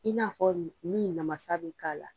I n'a fɔ ni namasa bɛ k'a la.